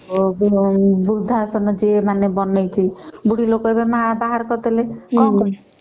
ବୃଦ୍ଧା ଆଶ୍ରମ ଯିଏ ବନେଇଛି ଯଦି ବାହାର କରିଦେଲେ ହୁଁ